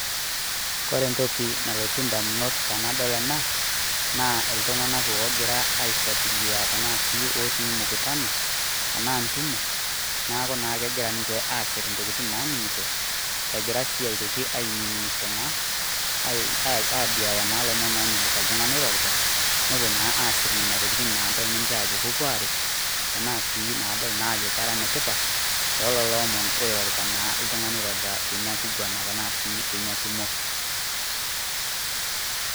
kore ntoki nalotu indamunot tenadol ena, naa iltung'anak ogira aifuatilia tanaa sii otii mkutanao tenaa ntumo naaku naa kegira ninche asirr naning'ito egira sii aitoki ainining'isho naa ae aduaya naa lomon onyaita oltung'ani oirorita nopuo naa asirr nenia tokitin nadol ninche ajo kopuo aret tanaa sii nadol naa ajo kera netipat tololo omon naa oirorita naa ltung'ani oirorita teinia kuguana tenaa sii teinia tumo